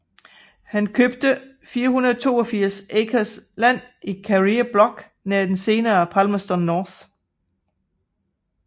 Han købte 482 acres land i Karere Block nær det senere Palmerston North